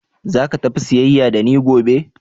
Zaka tafi siyayya da ni gobe?